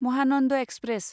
Mahanand express